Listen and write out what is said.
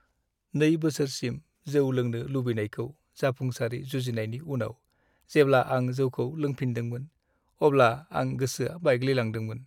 2 बोसोरसिम जौ लोंनो लुबैनायखौ जाफुंसारै जुजिनायनि उनाव जेब्ला आं जौखौ लोंफिनदोंमोन अब्ला आं गोसोआ बायग्लिलांदोंमोन।